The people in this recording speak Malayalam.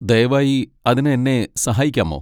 ദയവായി അതിന് എന്നെ സഹായിക്കാമോ?